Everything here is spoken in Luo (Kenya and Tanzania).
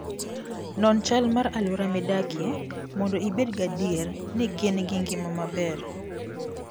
Non chal mar alwora midakie mondo ibed gadier ni gin gi ngima maber.